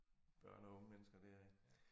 Børn og unge mennesker der ik